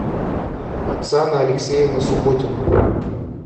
оксана алексеевна субботина